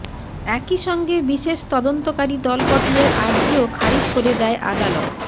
একইসঙ্গে বিশেষ তদন্তকারি দল গঠনের আর্জিও খারিজ করে দেয় আদালত